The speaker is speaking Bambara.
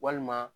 Walima